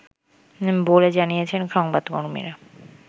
বলে জানিয়েছেন সংবাদকর্মীরা